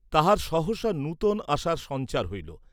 তাঁহার সহসা নূতন আশার সঞ্চার হইল।